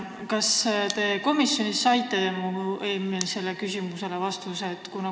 Kas te komisjonis saite mu eelmisele küsimusele vastuse?